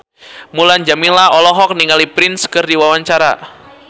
Mulan Jameela olohok ningali Prince keur diwawancara